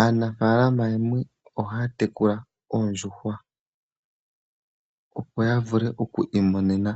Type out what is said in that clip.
Aanafaalama yamwe oha ya tekula oondjuhwa opo ya vule okwiimonena